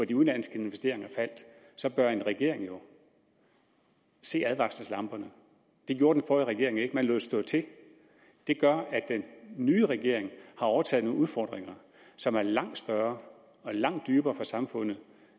de udenlandske investeringer faldt så bør en regering jo se advarselslamperne det gjorde den forrige regering ikke man lod stå til det gør at den nye regering har overtaget nogle udfordringer som er langt større og langt dybere for samfundet